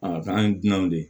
A kan ye dunanw de ye